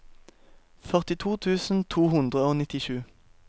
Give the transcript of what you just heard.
førtito tusen to hundre og nittisju